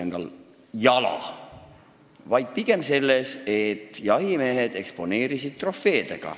Pigem on probleem selles, et jahimehed eksponeerivad trofeesid.